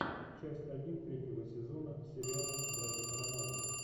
часть один третьего сезона сериала братья карамазовы